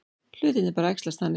Hlutirnir bara æxlast þannig.